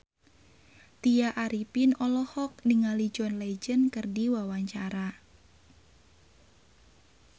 Tya Arifin olohok ningali John Legend keur diwawancara